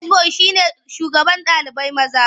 Hedi boyi shine shugaban ɗalibai maza.